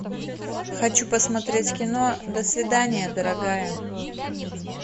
хочу посмотреть кино до свидания дорогая